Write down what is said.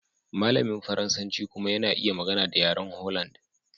Malamin Faransanci kuma yana iya magana da yaren Holland.